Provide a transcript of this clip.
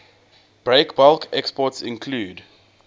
breakbulk exports include